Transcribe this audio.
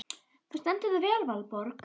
Þú stendur þig vel, Valborg!